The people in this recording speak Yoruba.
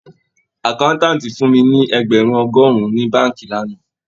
Àkáńtáǹtì fún mi ní ẹgbẹ̀rún ọgọ́rùn-ún ní báànkì lánàá